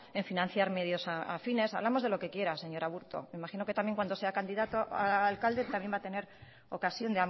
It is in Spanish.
en financiar medios afines hablamos de lo que quiera señor aburto me imagino que también cuanto sea candidato a alcalde también va a tener ocasión